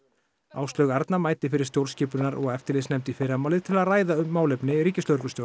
Áslaug Arna mætir fyrir stjórnskipunar og eftirlitsnefnd í fyrramálið til að ræða málefni ríkislögreglustjóra